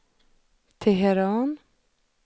Teheran